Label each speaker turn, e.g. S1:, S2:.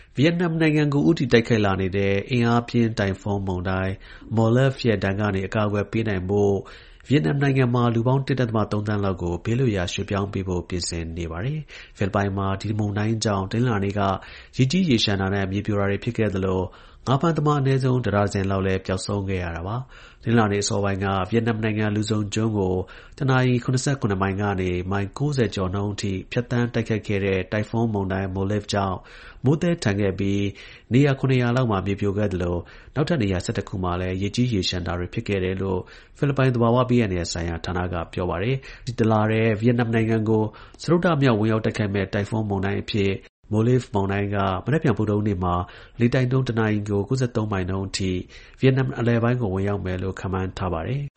S1: ဗီယက်နမ်နိုင်ငံကို ဦးတည် တိုက်ခိုက်လာနေတဲ့ အင်အားပြင်း တိုင်ဖုန်းမုန်တိုင်း Molave ရဲ့ ဒဏ်ကနေ အကာအကွယ် ပေးနိုင်ဖို့ ဗီယက်နမ်နိုင်ငံမှာ လူပေါင်း ၁.၃ သန်းလောက်ကို ဘေးလွတ်ရာရွှေ့ပြောင်းဖို့ ပြင်ဆင်နေပါတယ်။ ဖိလစ်ပိုင်မှာ ဒီမုန်တိုင်းကြောင့် တနင်္လာနေ့က ရေကြီးရေလျှံတာနဲ့ မြေပြိုတာတွေဖြစ်ခဲ့သလို ငါးဖမ်းသမား အနည်းဆုံး တစ်ဒါဇင်လောက်လည်း ပျောက်ဆုံးခဲ့ရတာပါ။ တနင်္လာနေ့အစောပိုင်းက ဖိလစ်ပိုင်နိုင်ငံ၊ လူဇုံကျွန်းကို တနာရီ ၇၇ မိုင်ကနေ မိုင် ၉၀ ကျော်နှုန်းနဲ့ ဖြတ်သန်း တိုက်ခတ်ခဲ့တဲ့ တိုင်ဖုန်း မုန်တိုင်း Molave ကြောင့် မိုးသည်းထန်ခဲ့ပြီး နေရာ ၇နေရာလောက်မှာ မြေပြိုခဲ့သလို နောက်ထပ်နေရာ ၁၁ ခုမှာလည်းရေကြီးရေလျှံ တာတွေဖြစ်ခဲ့တယ်လို့ ဖိလစ်ပိုင် သဘာဝဘေးအန္တရာယ်ဆိုင်ရာ ဌာန ကပြောပါတယ်။ ဒီတလထဲ ဗီယက်နမ်ကို စတုတ္ထမြောက် ဝင်ရောက်တိုက်ခတ်မယ့် တိုင်ဖွန်းမုန်တိုင်း အဖြစ် Molave မုန်တိုင်းက မနက်ဖြန် ဗုဒ္ဓဟူး နေ့မှာ လေတိုက်နှုန်း တနာရီကို ၉၃ မိုင်နှုန်းအထိ ဗီယက်နမ်နိုင်ငံ အလယ်ပိုင်းကို ဝင်ရောက်မယ်
S2: လို့ ခန့်မှန်းထား ပါတယ်။